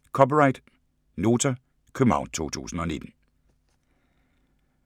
(c) Nota, København 2019